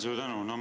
Suur tänu!